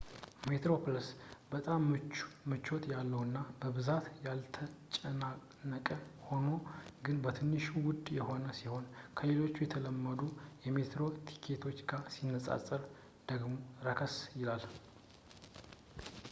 metroplus በጣም ምቾት ያለውና በብዛት ያልተጨናነቀ ሆኖ ግን በትንሹ ውድ የሆነ ሲሆን ከሌሎች የተለመዱ የሜትሮ ቲኬቶች ጋር ሲነፃፀር ደግሞ ረከስ ይላል